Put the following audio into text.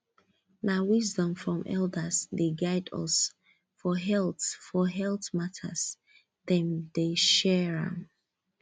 na wisdom from elders dey guide us for health for health matters dem dey share am